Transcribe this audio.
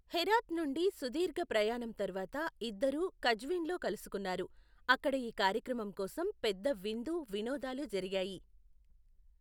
హెరాత్ నుండి సుదీర్ఘ ప్రయాణం తర్వాత ఇద్దరూ కజ్విన్లో కలుసుకున్నారు, అక్కడ ఈ కార్యక్రమం కోసం పెద్ద విందు, వినోదాలు జరిగాయి.